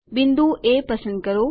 બિંદુ એ પસંદ કરો